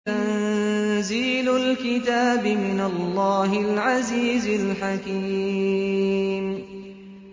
تَنزِيلُ الْكِتَابِ مِنَ اللَّهِ الْعَزِيزِ الْحَكِيمِ